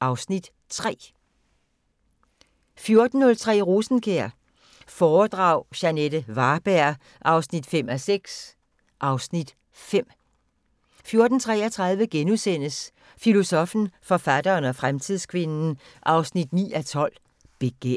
(Afs. 3)* 14:03: Rosenkjær foredrag – Jeanette Varberg 5:6 (Afs. 5)* 14:33: Filosoffen, forfatteren og fremtidskvinden 9:12: Begær *